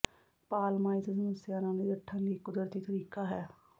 ਪਾਲਮਾ ਇਸ ਸਮੱਸਿਆ ਨਾਲ ਨਜਿੱਠਣ ਲਈ ਇੱਕ ਕੁਦਰਤੀ ਤਰੀਕਾ ਹੈ